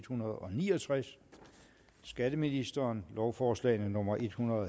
hundrede og ni og tres skatteministeren lovforslag nummer l en hundrede